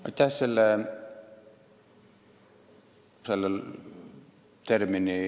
Aitäh!